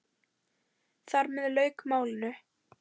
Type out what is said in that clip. Þar með lauk málinu.